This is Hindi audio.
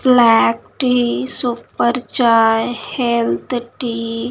black tea super chai health tea --